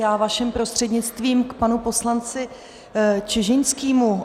Já vaším prostřednictvím k panu poslanci Čižinskému.